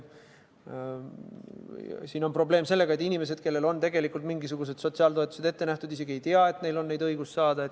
Siin on probleeme sellega, et inimesed, kellele on tegelikult mingisugused sotsiaaltoetused ette nähtud, isegi ei tea, et neil on õigus toetust saada.